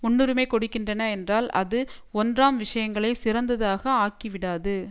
முன்னுரிமை கொடுக்கின்றன என்றால் அது ஒன்றாம் விஷயங்களை சிறந்ததாக ஆக்கிவிடாது